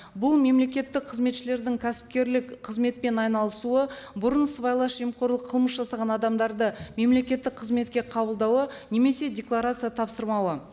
бұл мемлекеттік қызметшілердің кәсіпкерлік қызметпен айналысуы бұрын сыбайлас жемқорлық қылмыс жасаған адамдарды мемлекеттік қызметке қабылдауы немесе декларация тапсырмауы